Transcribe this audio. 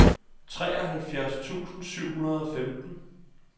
treoghalvfjerds tusind syv hundrede og femten